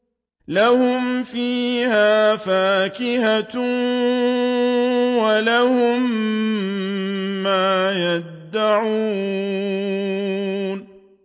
لَهُمْ فِيهَا فَاكِهَةٌ وَلَهُم مَّا يَدَّعُونَ